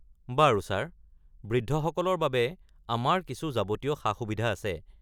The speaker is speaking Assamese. বাৰু ছাৰ। বৃদ্ধসকলৰ বাবে আমাৰ কিছু যাৱতীয় সা-সুবিধা আছে।